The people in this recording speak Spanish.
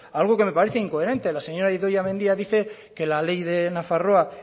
algo que me parece incoherente la señora idoia mendia dice que la ley de nafarroa